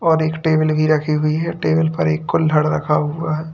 और एक टेबल भी रखी हुई है टेबल पर एक कुल्हड़ रखा हुआ है।